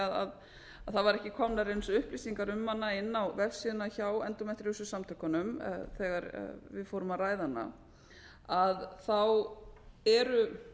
að ekki væru komnar upplýsingar um hana inn á vefsíðuna hjá endómetríósu samtökunum þegar við fórum að ræða hana þá eru